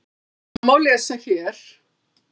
Það má lesa hér.